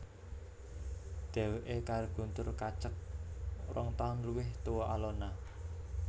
Dheweké karo Guntur kacek rong taun luwih tua Alona